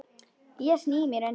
Ég sný mér undan.